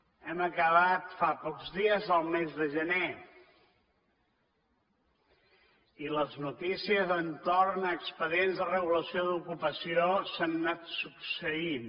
hem acabat fa pocs dies el mes de gener i les notícies entorn a expedients de regulació d’ocupació s’han anat succeint